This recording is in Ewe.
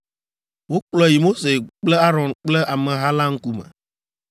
Wokplɔe yi Mose kple Aron kple ameha la ŋkume.